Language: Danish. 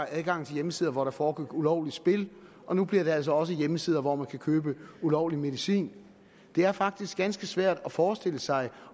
adgangen til hjemmesider hvor der foregik ulovligt spil og nu gælder det altså også hjemmesider hvor man kan købe ulovlig medicin det er faktisk ganske svært at forestille sig